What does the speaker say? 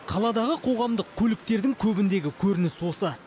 қаладағы қоғамдық көліктердің көбіндегі көрініс осы